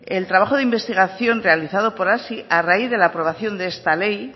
el trabajo de investigación realizado por hazi a raíz de la aprobación de esta ley